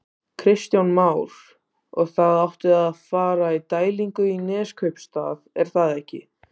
Kristján Már: Og það átti að fara í dælingu í Neskaupstað er það ekki?